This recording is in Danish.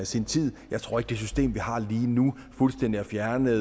sin tid jeg tror ikke at det system vi har lige nu fuldstændig har fjernet